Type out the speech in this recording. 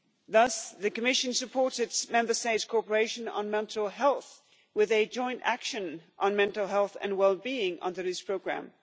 Thus the Commission supported Member States' cooperation on mental health with a Joint Action on Mental Health and Well being under this programme.